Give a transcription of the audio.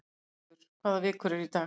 Silfur, hvaða vikudagur er í dag?